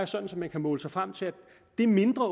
sådan at man kan måle sig frem til at det mindre